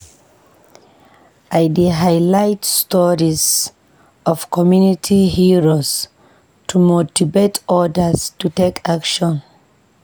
I dey highlight stories of community heroes to motivate odas to take action.